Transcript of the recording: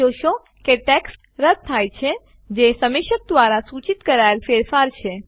તમે જોશો કે ટેક્સ્ટ રદ્દ થાય છે જે સમીક્ષક દ્વારા સૂચિત કરાયેલ ફેરફાર છે